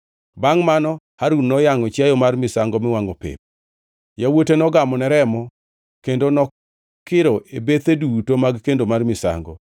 Bangʼ mano Harun noyangʼo chiayo mar misango miwangʼo pep. Yawuote nogamone remo kendo nokiro e bethe duto mag kendo mar misango.